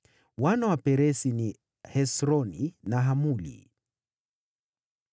Wana wa Peresi walikuwa: Hesroni na Hamuli.